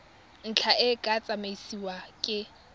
ntlha e tla tsamaisiwa ke